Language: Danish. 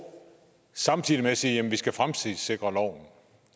og samtidig med det siger jamen vi skal fremtidssikre loven